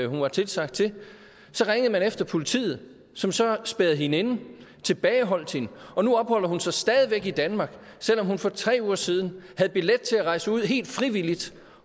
hun var tilsagt til så ringede man efter politiet som så spærrede hende inde tilbageholdt hende og nu opholder hun sig stadig væk i danmark selv om hun for tre uger siden havde billet til at rejse ud helt frivilligt